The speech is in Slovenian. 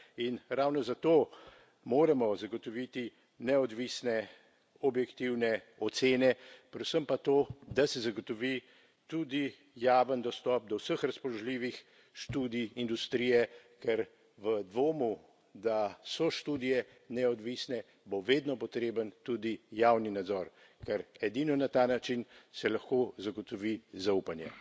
In ravno zato moramo zagotoviti neodvisne, objektivne ocene, predvsem pa to, da se zagotovi tudi javen dostop do vseh razpoložljivih študij industrije, ker v dvomu, da so študije neodvisne, bo vedno potreben tudi javni nadzor, ker edino na ta način se lahko zagotovi zaupanje.